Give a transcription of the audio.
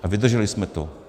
A vydrželi jsme to.